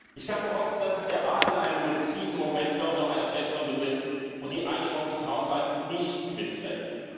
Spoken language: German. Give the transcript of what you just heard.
Ich kann nur hoffen, dass sich der Rat in einem luziden Moment doch noch eines Besseren besinnt und die Einigung zum Haushalt nicht mitträgt.